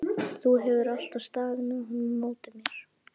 Þú hefur alltaf staðið með honum á móti mér.